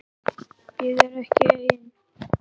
Ég er ekki ein.